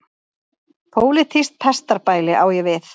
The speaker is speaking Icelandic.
Pólitískt pestarbæli á ég við.